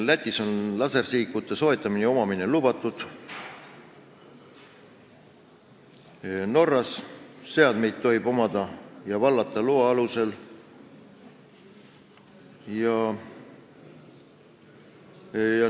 Lätis on lasersihikute soetamine ja omamine lubatud, Norras tohib neid seadmeid omada ja vallata loa alusel.